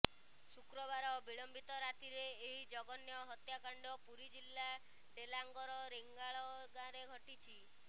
ଶୁକ୍ରବାର ବିଳମ୍ବିତ ରାତିରେ ଏହି ଜଘନ୍ୟ ହତ୍ୟାକାଣ୍ଡ ପୁରୀ ଜିଲ୍ଲା ଡେଲାଙ୍ଗର ରେଙ୍ଗାଳ ଗାଁରେ ଘଟିଛି